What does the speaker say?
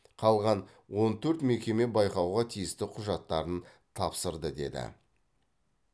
қалған он төрт мекеме байқауға тиісті құжаттарын тапсырды деді